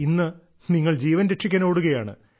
ഇന്ന് നിങ്ങൾ ജീവൻ രക്ഷിക്കാൻ ഓടുകയാണ്